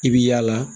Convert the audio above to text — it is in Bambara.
I bi yaala